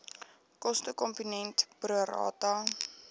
kostekomponent pro rata